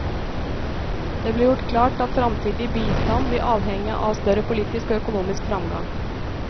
Det ble gjort klart at framtidig bistand vil avhenge av større politisk og økonomisk framgang.